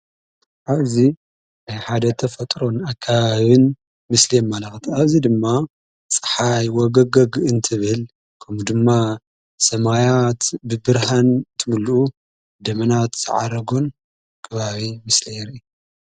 ኣብዚዚ ኣብ ሓደ ተፈጥሮን ኣካብን ምስሊ መልቕቲ ኣብዚይ ድማ ፀሓይ ወገገግ እንትብል ከምኡ ድማ ሰማያት ብብርሃን ትምሉኡ ደመናት ተዓረጐን ግባብ ምስለየር።